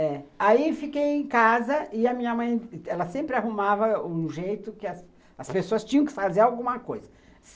É. Aí, fiquei em casa e a minha mãe, ela sempre arrumava um jeito que as pessoas tinham que fazer alguma coisa.